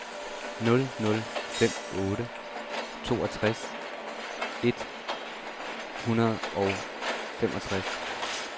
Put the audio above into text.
nul nul fem otte toogtres et hundrede og femogtres